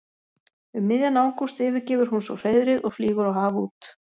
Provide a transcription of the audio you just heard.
Um miðjan ágúst yfirgefur hún svo hreiðrið og flýgur á haf út.